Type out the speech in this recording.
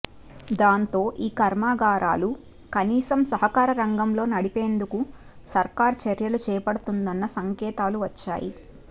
దాంతో ఈ కర్మాగారాలు కనీసం సహకార రంగంలో నడిపేందుకు సర్కారు చర్యలు చేపడుతుందన్న సంకేతాలు వచ్చాయి